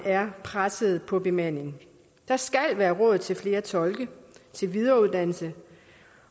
er pressede på bemandingen der skal være råd til flere tolke og videreuddannelse